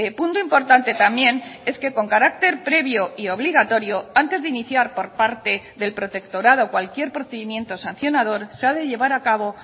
punto importante también es que con carácter previo y obligatorio antes de iniciar por parte del protectorado cualquier procedimiento sancionador se ha de llevar a cabo